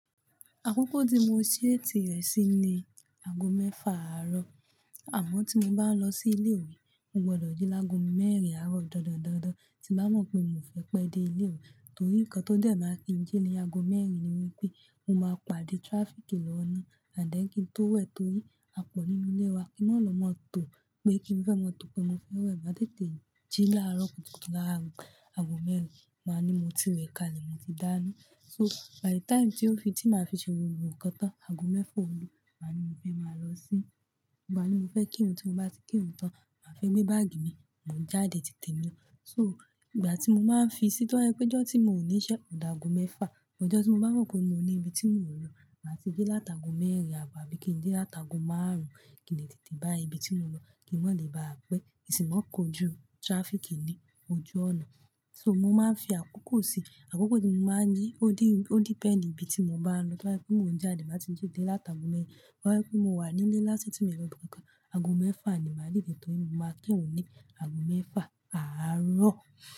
Àkókò tí mo ṣeèt rẹ̀ sí ni ago mẹ́fà àárọ̀. Àmọ́ tí mo bá ń lọ sí ilé ìwé, mo gbọdọ̀ jí lágo mẹ́rin àárọ̀ dandan dandan. Tí bá mọ̀ pé mi ò fẹ́ pẹ́ dé ilé ìwé torí nǹkan tó dé máa ń fi jí ní ago mẹ́rin ni wípé mo máa pàdé traffic ní ọ̀nà ànd then kín tó wẹ̀ torí àpọ̀ nínú ilé wa kí wọ́n lọ máa tó pé kí n fẹ́ máa tó pé mo fẹ́ wẹ̀ máa tètè jí láàárọ̀ kùtùkù láàárọ̀. Ago mẹ́rin máa ní mo ti wẹ̀ kalẹ̀, mo ti dáná. So by the time tí ó fi tí màá fi ṣe gbogbo nnkan tán, ago mẹ́fà ò lù máa ní mo fẹ́ máa lọ sí, máa ní mo fẹ́ kírun tí mo bá ti kírun tán, màá fé gbé báàgì mi, mo ń jáde tì témi. So ìgbà tí mo máa ń fi sí tọ́ bà jẹ pé ijọ́ tí mò ní iṣẹ́ ọ̀ dà ago mẹ́fà, ọjọ́ tí mo bá mọ̀ pé mo ní ibi tí mò ń lọ, màá ti jí láta ago mẹ́rin àábọ̀ àbí kí n jí láta ago márùn-ún kí n lè tètè bá ibi tí mo ń lọ kí máa lè bá à pẹ́, kí ń sì máa kojú traffic ní ojú ọ̀nà. So mo máa ń fi àkókò sí i. Àkókò tí mo máa ń jí ó depend ibi tí mo bá ń lọ, tó bá jẹ pé mo ń jáde bá ti dí dé láta ago mẹ́rin, tó bá jẹ pé mo wà nílé lásán tí mo lọ́ ibi kankan, ago mẹ́fà ni màá dìdẹ̀ torí mo máa kírun ní ago mẹ́fà àárọ̀.